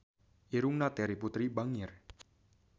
Irungna Terry Putri bangir